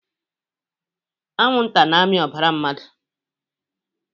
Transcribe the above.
Anwụnta na amị ọbara mmadụ